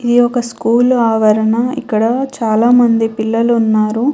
ఇది ఒక స్కూలు ఆవరణ. ఇక్కడ చాలామంది పిల్లలు ఉన్నారు.